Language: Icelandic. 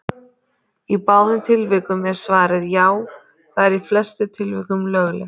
Í báðum tilvikum er svarið: Já, það er í flestum tilvikum löglegt.